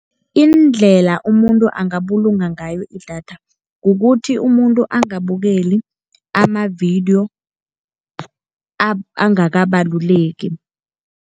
Indlela umuntu angabulunga ngayo idatha kukuthi umuntu angabukeli amavidiyo angakabaluleki.